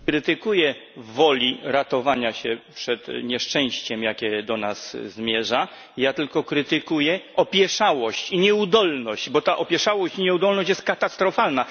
Nie krytykuję woli ratowania się przed nieszczęściem, jakie do nas zmierza, ja tylko krytykuję opieszałość i nieudolność, bo ta opieszałość i nieudolność są katastrofalne.